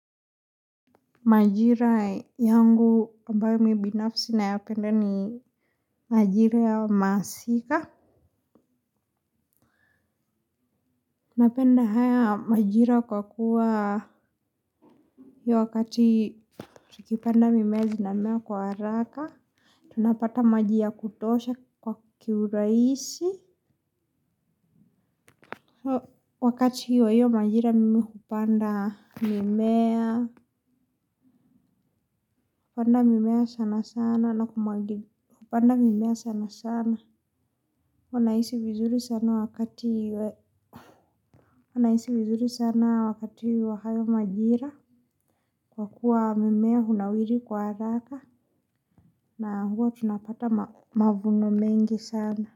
Majira yangu ambayo mi binafsi nayapenda ni majira ya masika napenda haya majira kwa kuwa wakati tukipanda mimea zinamea kwa haraka. Tunapata majia ya kutosha kwa kiuraisi. Wakati hiyo hiyo majira mimi hupanda mimea. Kupanda mimea sana sana na kumwagi kupanda mimea sana sana. Wanahisi vizuri sana wakati wa hayo majira kwa kuwa mimea hunawiri kwa haraka na huwa tunapata mavuno mengi sana.